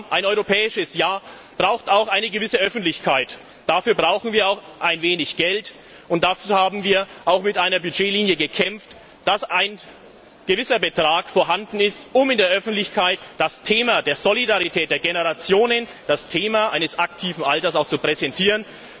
Ein Europäisches Jahr braucht auch eine gewisse Öffentlichkeit, dafür brauchen wir auch ein wenig Geld und dazu haben wir auch für eine Budgetlinie gekämpft, damit ein gewisser Betrag vorhanden ist, um in der Öffentlichkeit das Thema der Solidarität der Generationen, das Thema des aktiven Alterns auch zu präsentieren.